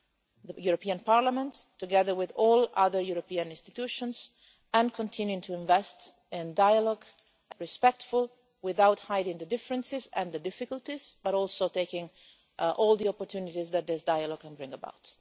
The European Parliament, together with all other European institutions, continues to invest in dialogue respectfully, without hiding the differences and the difficulties, but also while taking all the opportunities that this dialogue can bring about.